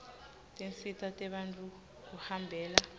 tinsita tebantfu kuhambela